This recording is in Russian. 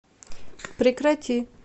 прекрати